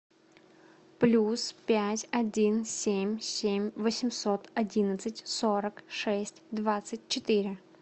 плюс пять один семь семь восемьсот одиннадцать сорок шесть двадцать четыре